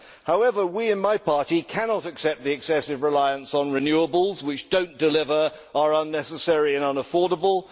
However, we in my party cannot accept the excessive reliance on renewables, which do not deliver, are unnecessary and unaffordable.